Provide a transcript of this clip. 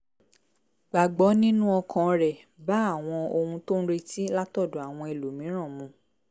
gbà gbọ́ nínú ọkàn rẹ̀ bá àwọn ohun tó ń retí látọ̀dọ̀ àwọn ẹlòmíràn mu